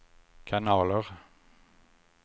kanaler